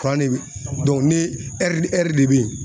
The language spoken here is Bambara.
de bɛ ni ni de bɛ ye.